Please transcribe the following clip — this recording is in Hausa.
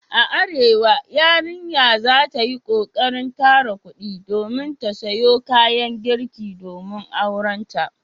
A Arewa yarinya za ta yi kokarin tara kudi domin ta siyo kayan girki domin aurenta.